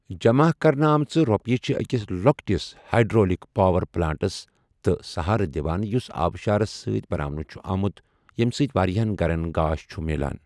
جَمع کرنہٕ آمٕژ رۄپیہِ چھِ أکِس لۄکٹس ہائیڈرولک پاور پلانٹس تہِ سٕہارٕ دِوان یُس آبشارس سٕتی بناونہٕ چھُ آمُت یَمہِ سۭتۍ وارِہن گھرن گاش چھُ مِلان۔